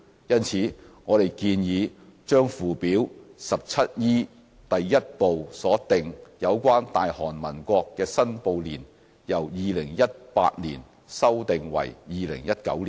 因此，我們建議把附表 17E 第1部所訂有關"大韓民國"的申報年由 "2018" 年修訂為 "2019" 年。